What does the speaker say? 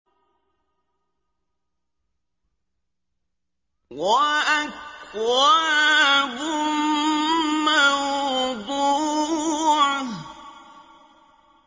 وَأَكْوَابٌ مَّوْضُوعَةٌ